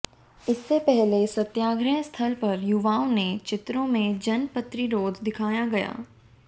इससे पहले सत्याग्रह स्थल पर युवाओ ने चित्रों में जनप्रतिरोध दिखाया गया